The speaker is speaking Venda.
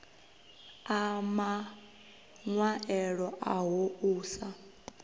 a maṅwaelo aho u sa